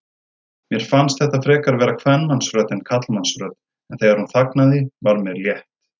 Mér fannst þetta frekar vera kvenmannsrödd en karlmannsrödd, en þegar hún þagnaði var mér létt.